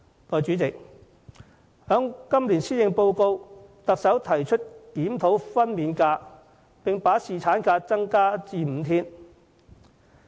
代理主席，行政長官於今年施政報告中提出檢討分娩假，並增加侍產假至5天。